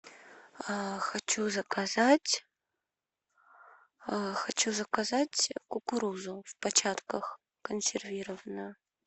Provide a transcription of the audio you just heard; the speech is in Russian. хочу заказать хочу заказать кукурузу в початках консервированную